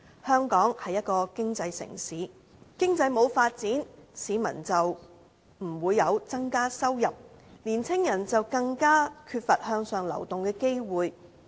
香港是一個經濟城市，經濟沒有發展，市民的收入便不會增加，年青人便更缺乏向上流動的機會。